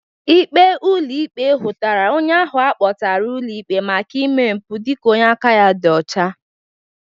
Ikpe ụlọ ikpe hụtara onye ahụ akpọtara ụlọ ikpe maka ime mpụ dịka onye aka ya dị ọcha.